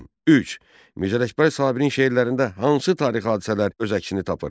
Üç. Mirzə Ələkbər Sabirin şeirlərində hansı tarixi hadisələr öz əksini tapır?